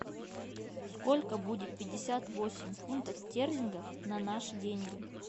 сколько будет пятьдесят восемь фунтов стерлингов на наши деньги